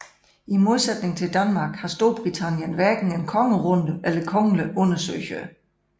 I modsætning til Danmark har Storbritannien hverken en kongerunde eller kongelige undersøgere